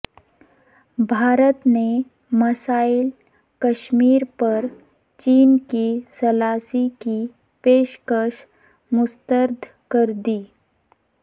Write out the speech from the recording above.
بھارت نے مسئلہ کشمیر پر چین کی ثالثی کی پیشکش مسترد کردی